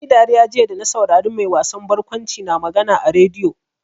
Na yi dariya jiya da na saurari mai wasan barkwanci na magana a rediyo.